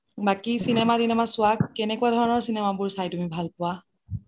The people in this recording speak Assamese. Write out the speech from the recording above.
বাকি চিনেমা তিনেমা চোৱা কেনেকুৱা ধৰণৰ চিনেমা তুমি চাই ভাল পোৱা